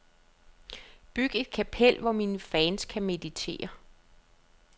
Byg et kapel, hvor mine fans kan meditere.